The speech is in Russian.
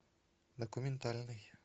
документальный